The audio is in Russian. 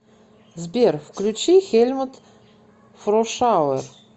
сбер включи хельмут фрошауэр